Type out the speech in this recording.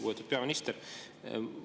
Lugupeetud peaminister!